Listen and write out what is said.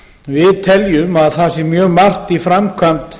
við teljum að það sé mjög margt í framkvæmd